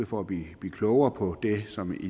for at blive klogere på det som i